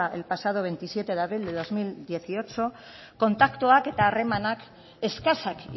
el pasado veintisiete de abril de bi mila hemezortzi kontaktuak eta harremanak eskasak